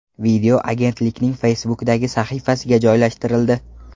Video agentlikning Facebook’dagi sahifasiga joylashtirildi .